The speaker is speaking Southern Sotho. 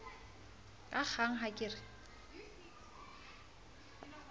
ka kgang ha ke re